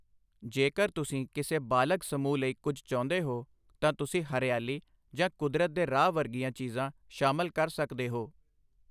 ਜੇਕਰ ਤੁਸੀਂ ਕਿਸੇ ਬਾਲਗ ਸਮੂਹ ਲਈ ਕੁਝ ਚਾਹੁੰਦੇ ਹੋ, ਤਾਂ ਤੁਸੀਂ ਹਰਿਆਲੀ ਜਾਂ ਕੁਦਰਤ ਦੇ ਰਾਹ ਵਰਗੀਆਂ ਚੀਜ਼ਾਂ ਸ਼ਾਮਲ ਕਰ ਸਕਦੇ ਹੋ।